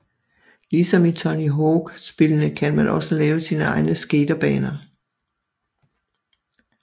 Ligesom i Tony Hawk spillene kan man også lave sine egne skaterbaner